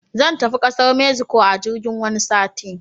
Zan tafi kasar mexico a jirgin wani sati.